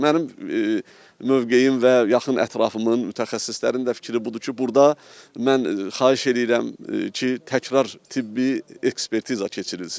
Mənim mövqeyim və yaxın ətrafımın, mütəxəssislərin də fikri budur ki, burda mən xahiş eləyirəm ki, təkrar tibbi ekspertiza keçirilsin.